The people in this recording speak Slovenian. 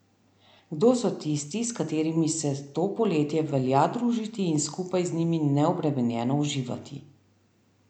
Kdo so tisti, s katerimi se to poletje velja družiti in skupaj z njimi neobremenjeno uživati?